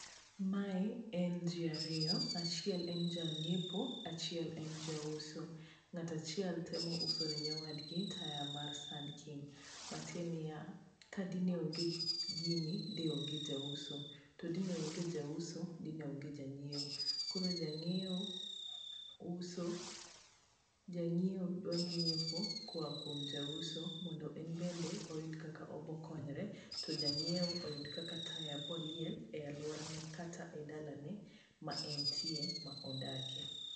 Mae en ji ariyo, achiel en janyiepo, achiel en jauso.Ng'ato achiel temo usone wadgi taya mar Sun king. Matiende niya, dine onge gini, de onr jauso. To dine onge jauso, dine onge janyiewo. Koro janyiewo uso, janyiewo dwa nyiepo koya kuom jauso mondo enbende oyud kaka obo konyre. To janyiewo oyud kaka taya biro liel e alworane kata e dalane ma entie, ma odakie.